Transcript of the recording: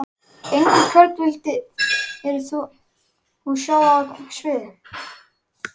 Engu Hvern vildir þú sjá á sviði?